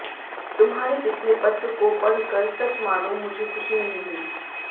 तुम्हारे पिछले पत्र को पढ़ कर सच मानों मुझे खुशी नहीं हुई